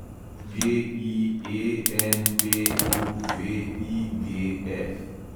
GIENPUVIGF